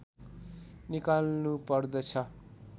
निकाल्नु पर्दछ